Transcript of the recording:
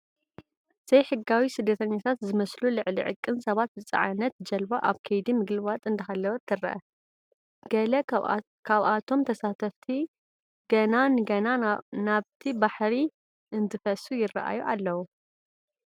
ዘይሕጋዊ ስደተኛታት ዝመስሉ ልዕሊ ዕቅን ሰባት ዝፀዓነት ጀልባ ኣብ ከይዲ ምግልባጥ እንዳሃለወት ትርአ፡፡ ገለ ካብቶም ተሳተፍቲ ገና ንገና ናባቲ ባሕሪ እንትፈሱ ይርአዩ ኣለዉ፡፡